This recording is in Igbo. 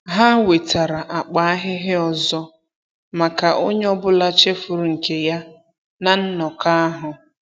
Ha wetara akpa ahịhịa ọzọ maka onye ọbụla chefuru nke ya na nnọkọ ahụ.